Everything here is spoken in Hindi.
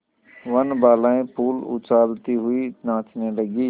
वनबालाएँ फूल उछालती हुई नाचने लगी